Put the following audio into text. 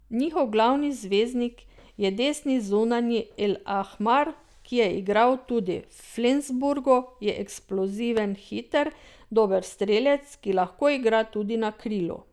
Njihov glavni zvezdnik je desni zunanji El Ahmar, ki je igral tudi v Flensburgu, je eksploziven hiter, dober strelec, ki lahko igra tudi na krilu.